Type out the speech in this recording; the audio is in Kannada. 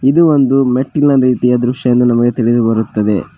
ಇದು ಒಂದು ಮೆಟ್ಟಿನ ರೀತಿಯ ದೃಶ್ಯ ಎಂದು ನಮಗೆ ತಿಳಿದು ಬರುತ್ತದೆ.